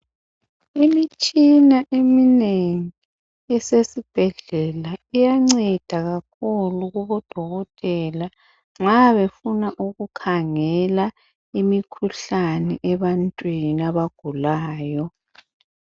Imitshina eminengi esesibhedlela iyanceda kakhulu kubodokotela nxa befuna ukukhangela imikhuhlane ebantwini abagulayo.